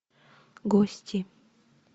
гости